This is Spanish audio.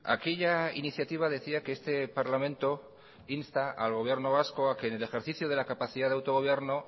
aquella iniciativa decía que este parlamento insta al gobierno vasco a que en el ejercicio de la capacidad de autogobierno